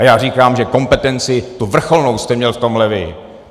A já říkám, že kompetenci, tu vrcholnou, jste měl v tomhle vy!